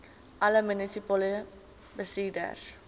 alle munisipale bestuurders